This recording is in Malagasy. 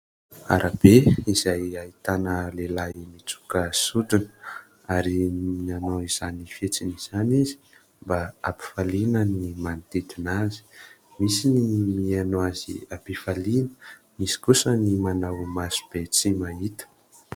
Arabe izay ahitana lehilahy mitsoka sodina ary nanao izany fihetsiny izany izy mba hampifaliana ny manodidina azy, misy ny mihaino azy amim-pifaliana, misy kosa ny manao maso be tsy mahita.